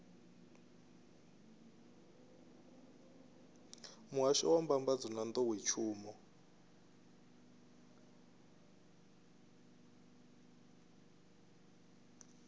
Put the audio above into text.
muhasho wa mbambadzo na nḓowetshumo